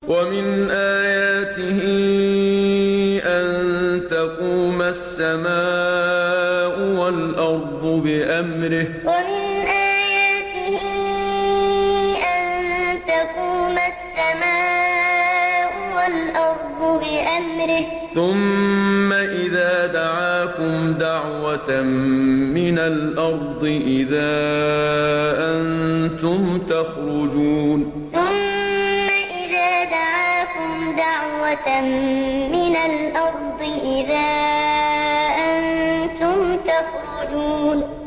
وَمِنْ آيَاتِهِ أَن تَقُومَ السَّمَاءُ وَالْأَرْضُ بِأَمْرِهِ ۚ ثُمَّ إِذَا دَعَاكُمْ دَعْوَةً مِّنَ الْأَرْضِ إِذَا أَنتُمْ تَخْرُجُونَ وَمِنْ آيَاتِهِ أَن تَقُومَ السَّمَاءُ وَالْأَرْضُ بِأَمْرِهِ ۚ ثُمَّ إِذَا دَعَاكُمْ دَعْوَةً مِّنَ الْأَرْضِ إِذَا أَنتُمْ تَخْرُجُونَ